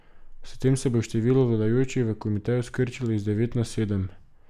S tem se bo število vladajočih v komiteju skrčilo iz devet na sedem.